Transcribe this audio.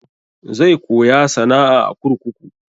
Zai koya sana'a a kurkuku.